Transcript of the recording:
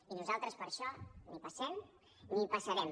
i nosaltres per això ni hi passem ni hi passarem